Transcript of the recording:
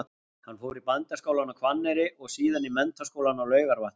Hann fór í Bændaskólann á Hvanneyri og síðan í Menntaskólann á Laugarvatni.